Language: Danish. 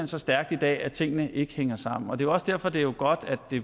så stærkt i dag at tingene ikke hænger sammen og det også derfor det er godt at det